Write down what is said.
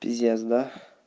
пиздец да